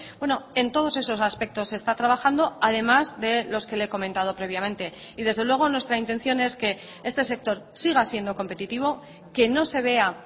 bueno en todos esos aspectos se está trabajando además de los que le he comentado previamente y desde luego nuestra intención es que este sector siga siendo competitivo que no se vea